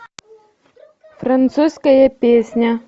французская песня